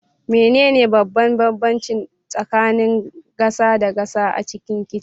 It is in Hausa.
Menene babban bambanci tsakanin gasa da gasa a cikin kicin?